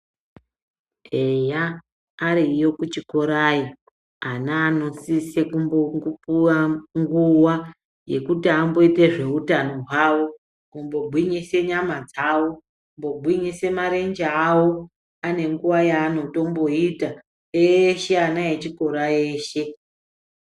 Eya ariyo kuchikorayo ana anosise kubopuva nguva yekuti amboite zveutano hwavo. Kumbogwinyise nyama dzavo kugwinyise marenje avo ane nguva yaanotomboita eshe ana echikora eshe.